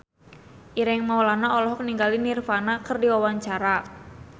Ireng Maulana olohok ningali Nirvana keur diwawancara